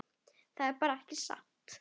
Það er bara ekki satt.